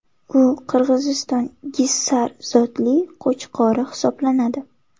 U Qirg‘iziston Gissar zotli qo‘chqori hisoblanadi.